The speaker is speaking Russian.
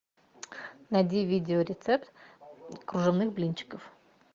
найди видео рецепт кружевных блинчиков